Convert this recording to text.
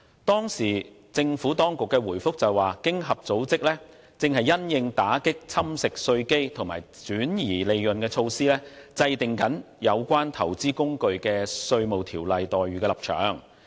當時，政府當局回應指，經濟合作與發展組織正因應打擊侵蝕稅基及轉移利潤的措施，制訂有關投資工具的稅務條約待遇的立場。